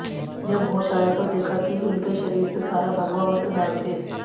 जब होश आया तो देखा कि उनके शरीर से सारा भगवा वस्त्र गायब थे